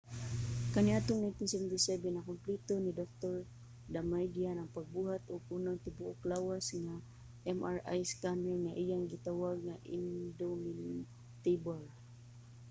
kaniadtong 1977 nakumpleto ni dr. damadian ang pagbuhat og unang tibuok-lawas nga mri scanner nga iyang gitawag nga indomitable